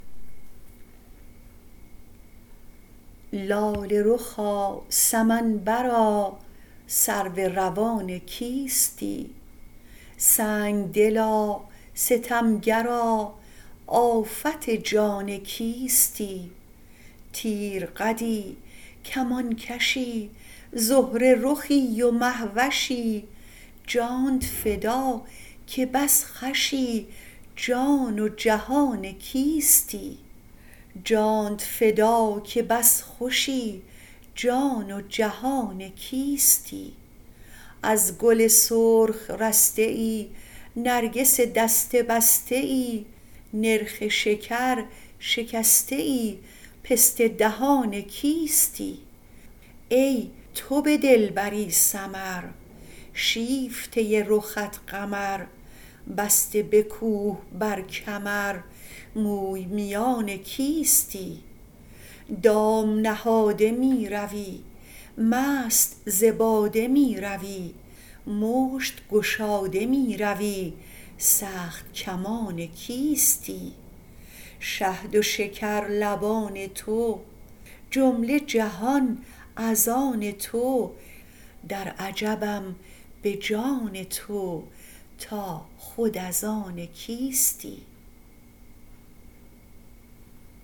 لاله رخا سمن برا سرو روان کیستی سنگ دلا ستم گرا آفت جان کیستی تیرقدی کمان کشی زهره رخی و مه وشی جانت فدا که بس خوشی جان و جهان کیستی از گل سرخ رسته ای نرگس دسته بسته ای نرخ شکر شکسته ای پسته دهان کیستی ای تو به دلبری سمر شیفته رخت قمر بسته به کوه بر کمر موی میان کیستی دام نهاده می روی مست ز باده می روی مشت گشاده می روی سخت کمان کیستی شهد و شکر لبان تو جمله جهان از آن تو در عجبم به جان تو تا خود از آن کیستی